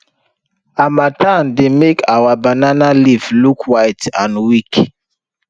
harmattan dey make our banana leaf look white and weak